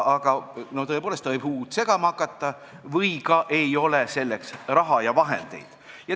Aga tõepoolest, ta võib uut segama hakata või ei ole selleks raha ja vahendeid.